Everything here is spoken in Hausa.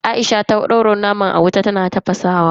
Aisha ta daura naman a wuta tana tafasa naman.